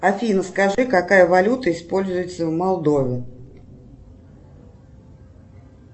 афина скажи какая валюта используется в молдове